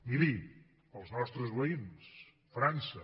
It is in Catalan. miri els nostres veïns frança